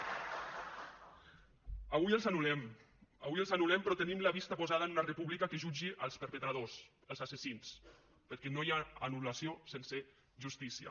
avui els anul·lem avui els anul·lem però tenim la vista posada en una república que jutgi els perpetradors els assassins perquè no hi ha anul·lació sense justícia